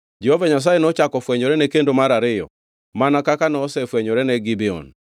Jehova Nyasaye nochako ofwenyorene kendo mar ariyo mana kaka nosefwenyorene Gibeon.